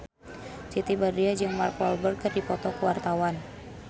Siti Badriah jeung Mark Walberg keur dipoto ku wartawan